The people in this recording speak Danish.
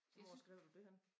Hvor skrev du dét henne?